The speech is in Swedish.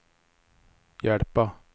hjälpa